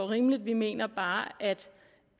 rimeligt vi mener bare at